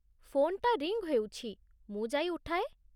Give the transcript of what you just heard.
ଫୋନ୍‌ଟା ରିଙ୍ଗ୍ ହେଉଛି, ମୁଁ ଯାଇ ଉଠାଏ ।